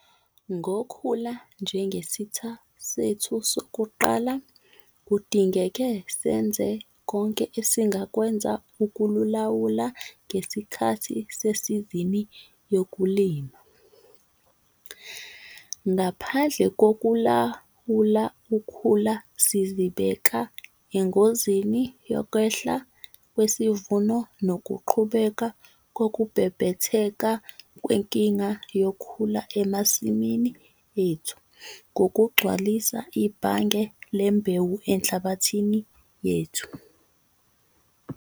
Ngokhula njengesitha sethu sokuqala, kudingeke senze konke esingakwenza ukululawula ngesikhathi sesizini yokulima. Ngaphandle kokulawula ukhula, sizibeka engozini yokwehla kwesivuno nokuqhubeka kokubhebhetheka kwenkinga yokhula emasimini ethu ngokugcwalisa 'ibhange' lembewu enhlabathini yethu.